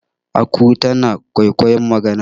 aku tana kwaikwayon magana